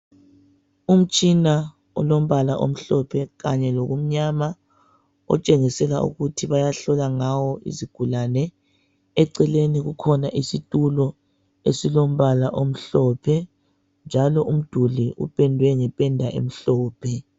umtshina olombala omhlophe kanye lokumnyama otshengisela ukuthi bayahlola ngawo izigulane eceleni kukhona isitulo esilombala omhlophe njalo umduli upendwe ngependa emhlophe